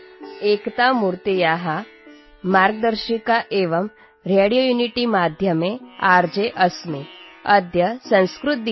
ଏକତା ମୂର୍ତ୍ତିର ମାର୍ଗଦର୍ଶିକା ଏବଂ ରେଡ଼ିଓ ୟୁନିଟି ମାଧ୍ୟମରେ ମୁଁ ଜଣେ ଆର୍ଜେ